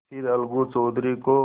फिर अलगू चौधरी को